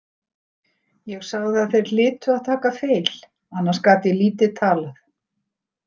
Ég sagði að þeir hlytu að taka feil, annars gat ég lítið talað.